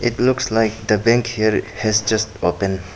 It looks like the bank here has just open.